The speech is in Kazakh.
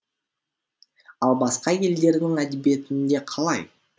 ал басқа елдердің әдебиетінде қалай